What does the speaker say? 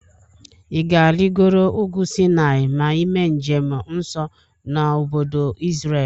Ị ga-arigoro ugwu Sinai ma ime njem nso na obodo Izrel?